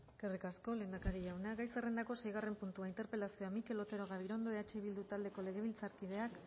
eskerrik asko lehendakari jauna gai zerrendako seigarren puntua interpelazioa mikel otero gabirondo eh bildu taldeko legebiltzarkideak